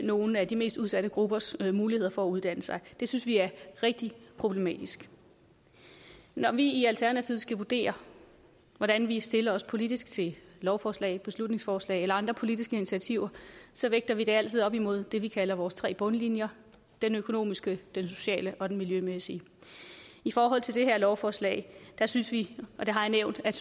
nogle af de mest udsatte gruppers muligheder for at uddanne sig og det synes vi er rigtig problematisk når vi i alternativet skal vurdere hvordan vi stiller os politisk til lovforslag beslutningsforslag eller andre politiske initiativer vægter vi det altid op imod det vi kalder vores tre bundlinjer den økonomiske den sociale og den miljømæssige i forhold til det her lovforslag synes vi og det har jeg nævnt at